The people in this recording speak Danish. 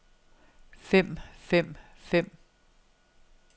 fem fem fem